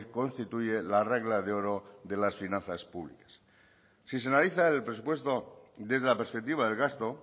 constituye la regla de oro de las finanzas públicas si se analiza el presupuesto desde la perspectiva del gasto